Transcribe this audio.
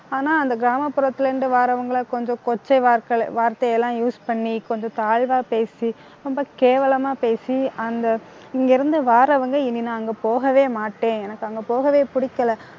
ஆனா, அந்த கிராமப்புறத்தில இருந்து வர்றவங்களை, கொஞ்சம் கொச்சை வார்த்தை~ வார்த்தை எல்லாம் use பண்ணி கொஞ்சம் தாழ்வா பேசி ரொம்ப கேவலமா பேசி அந்த இங்க இருந்து வர்றவங்க இனி நான் அங்க போகவே மாட்டேன். எனக்கு அங்க போகவே பிடிக்கல